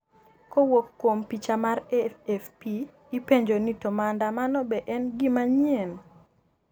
kowuok kuom picha mar AFP ipenjo ni to maandamano be en gimanyien?